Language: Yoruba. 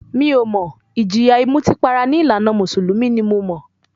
Mi ò mọ̀, ìjìyà ìmutípara ní ìlànà mùsùlùmí ni mo mọ̀.